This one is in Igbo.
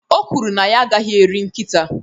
o kwuru na ya agaghị eri nkịta